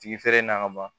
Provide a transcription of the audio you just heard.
Tigi feere na ka ban